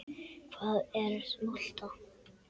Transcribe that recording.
Hvað er molta?